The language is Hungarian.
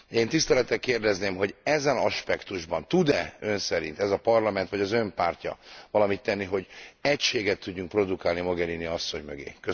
Én tisztelettel kérdezném, hogy ezen aspektusban tud e Ön szerint ez a Parlament vagy az Ön pártja valamit tenni, hogy egységet tudjunk produkálni Mogherini asszony mögé?